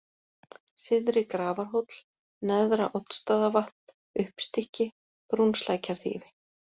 Syðri-Grafarhóll, Neðra-Oddsstaðavatn, Uppstykki, Brúnslækjarþýfi